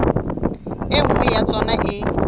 e nngwe ya tsona e